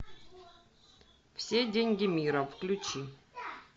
все деньги мира включи